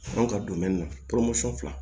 Kan ka don na fila